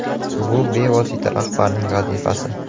Bu bevosita rahbarning vazifasi.